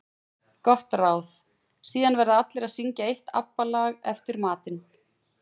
Gott ráð: Síðan verða allir að syngja eitt ABBA lag eftir matinn.